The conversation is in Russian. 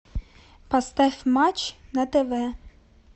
поставь матч на тв